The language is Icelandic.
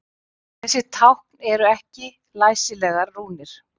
Þessi tákn eru ekki læsilegar rúnir.